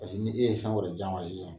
Paseke ni e ye fɛn wɛrɛ di a ma sisan